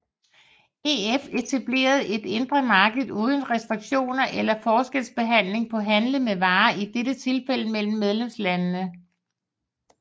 EF etablerede et indre marked uden restriktioner eller forskelsbehandling på handle med varer i dette tilfælde mellem medlemslandene